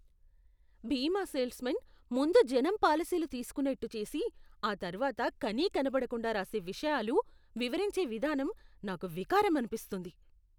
బీమా salesmen ముందు జనం పాలసీలు తీసుకోనేట్టు చేసి, ఆ తర్వాత కనీకనపడకుండా రాసే విషయాలు వివరించే విధానం నాకు వికారం అనిపిస్తుంది.